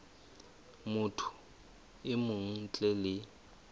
motho e mong ntle le